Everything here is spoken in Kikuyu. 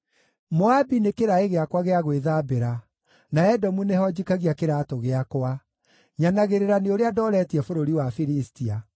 Moabi nĩ kĩraĩ gĩakwa gĩa gwĩthambĩra, na Edomu nĩho njikagia kĩraatũ gĩakwa; nyanagĩrĩra nĩ ũrĩa ndooretie bũrũri wa Filistia.”